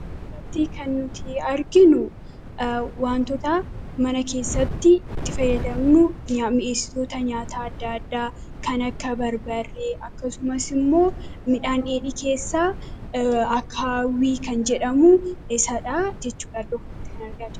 Asirratti waanti nuti arginu, waantota mana keessatti itti fayyadamnu mi'eessitoota nyaataa addaa addaa kan akka barbarree akkasumas immoo midhaan dheedhii keessa akaawwii kan jedhamu Iddoo kanatti kan argaa jirru.